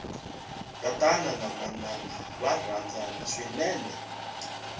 tatana na manana va rhandzana swinene